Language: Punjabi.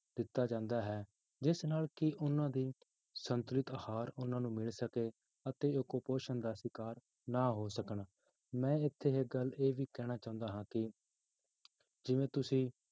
ਦਿੱਤਾ ਜਾਂਦਾ ਹੈ, ਜਿਸ ਨਾਲ ਕਿ ਉਹਨਾਂ ਦੀ ਸੰਤੁਲਤ ਆਹਾਰ ਉਹਨਾਂ ਨੂੰ ਮਿਲ ਸਕੇ ਅਤੇ ਉਹ ਕੁਪੋਸ਼ਣ ਦਾ ਸ਼ਿਕਾਰ ਨਾ ਹੋ ਸਕਣ, ਮੈਂ ਇੱਥੇ ਇੱਕ ਗੱਲ ਇਹ ਵੀ ਕਹਿਣਾ ਚਾਹੁੰਦਾ ਹਾਂ ਕਿ ਜਿਵੇਂ ਤੁਸੀਂ